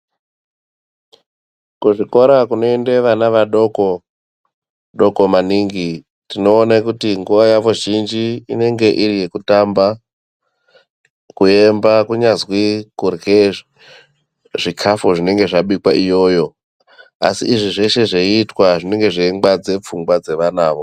Kuzvikora kunoende vana vadoko doko maningi tinoone kuti nguwa yawo zhinji inenge iri yekutamba kuemba kunyazi kurye zvikafu zvinenge zvabikwa iyoyo asi izvi zveshe zveiitwa zvinenge zveingwadze pfungwa dzevanawo.